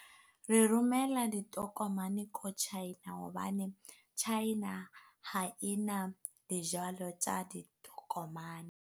Re romela ditokomane ko China hobane China ha e na dijalo tsa ditokomane.